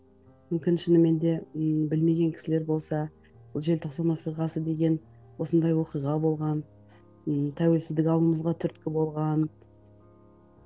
мүмкін шынымен де ммм білмеген кісілер болса бұл желтоқсан оқиғасы деген осындай оқиға болған ммм тәуелсіздік алуымызға түрткі болған